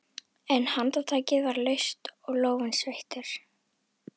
En handtakið var laust og lófinn sveittur.